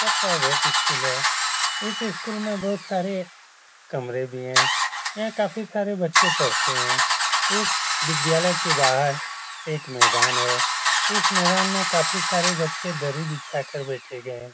यह private school है। इस स्कूल में बहोत सारे कमरे भी हैं। यहाँ काफ़ी सारे बच्चे पढ़ते हैं। एक विद्यालय के बाहर एक मैदान है। इस मैदान में काफ़ी सारे बच्चे दरी बिछा कर बैठे गये हैं।